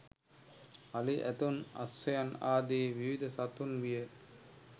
අලි ඇතුන් අශ්වයන් ආදී විවිධ සතුන් විය